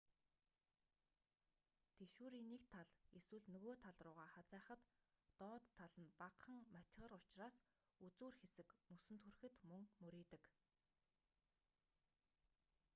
тэшүүрийн нэг тал эсвэл нөгөө тал руугаа хазайхад доод тал нь багахан матигар учраас үзүүр хэсэг мөсөнд хүрэхэд мөн мурийдаг